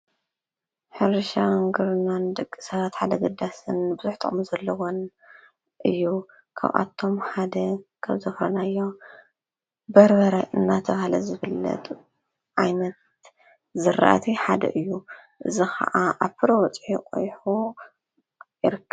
ሕርሻን ግብርናን ድቂ ሰባት ሓደ ግዳስን ብዙጥቅሚን ዘለዎን እዩ ካብኣቶም ሓደ ከብ ዘፍረናዮ በርበረ እናተብሃለዝፍለጥ እዚ ከዓ ዓይነት ዘራእቲ ሓደ እዩ ዝኸዓ ኣፍር በፂሑ ቊይሑ ይርከብ።